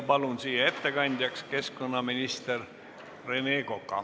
Palun ettekandjaks keskkonnaminister Rene Koka.